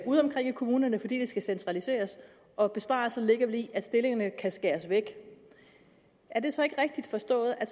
udeomkring i kommunerne fordi der skal centraliseres og besparelserne vel ligger i at stillingerne kan skæres væk er det så ikke rigtigt forstået at